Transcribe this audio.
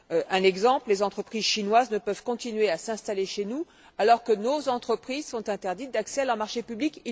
Un exemple les entreprises chinoises ne peuvent continuer à s'installer chez nous alors que nos entreprises sont interdites d'accès à leur marché public.